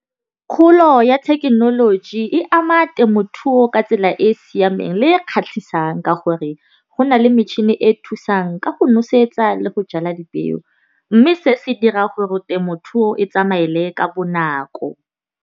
Kgolo ya thekenoloji e ama temothuo ka tsela e e siameng le e kgatlhisang ka gore go na le metšhini e e thusang ka go nosetsa le go jala dipeo. Mme se se dira gore temothuo e tsamaele ka bonako.